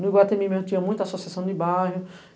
No Iguatemi, tinha muita associação de bairro.